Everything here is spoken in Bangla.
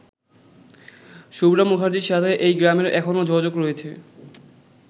শুভ্রা মুখার্জির সাথে এই গ্রামের এখনও যোগাযোগ রয়েছে।